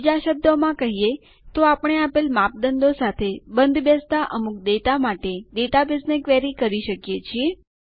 બીજા શબ્દોમાં કહીએ તો આપણે આપેલ માપદંડો સાથે બંધબેસતા અમુક ડેટા માટે ડેટાબેઝને ક્વેરી કરી શકીએ છીએ